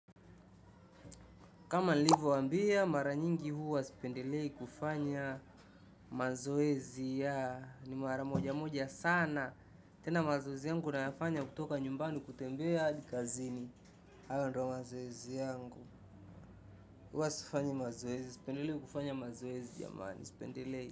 Kama nilivyoambia, mara nyingi huwa sipendelei kufanya mazoezi, ni mara moja moja sana, tena mazoezi yangu nayafanya kutoka nyumbani kutembea hadi kazini, hayo ndiyo mazoezi yangu, huwa sifanyi mazoezi. Sipendelei kufanya mazoezi, sipendelei.